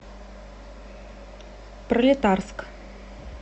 пролетарск